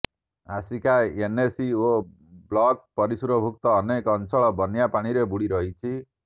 Asika NAC ଓ block ପରିସରଭୁକ୍ତ ଅନେକ ଅଞ୍ଚଳ ବନ୍ୟା ପାଣିରେ ବୁଡ଼ିରହିଛି